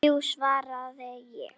Þrjú, svaraði ég.